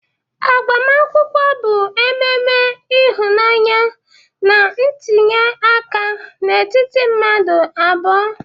Agbamakwụkwọ bụ mmemme ịhụnanya na ntinye aka n'etiti mmadụ abụọ.